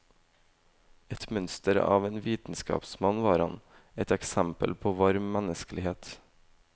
Et mønster av en vitenskapsmann var han, et eksempel på varm menneskelighet.